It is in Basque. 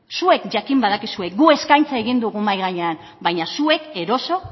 zuek jakin badakizue guk eskaintza egin dugu mahia gainean baina zuek eroso